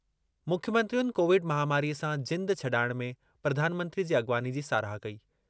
मुख्यमंत्रियुनि Covid महामारीअ सां जिंद ‍छॾाइण में प्रधानमंत्री जी अॻवानी जी साराह कई।